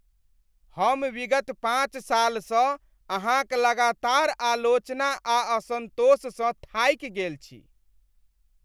हम विगत पाँच सालसँ अहाँक लगातार आलोचना आ असंतोष सँ थाकि गेल छी।